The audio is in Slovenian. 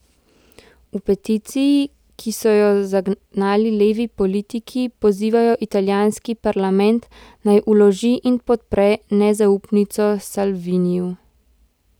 V peticiji, ki so jo zagnali levi politiki, pozivajo italijanski parlament, naj vloži in podpre nezaupnico Salviniju.